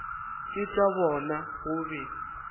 ke tša bona go be